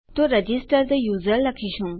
તો રજિસ્ટર થે યુઝર લખીશું